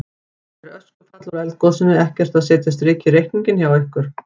Er öskufall úr eldgosinu ekkert að setja strik í reikninginn hjá ykkur?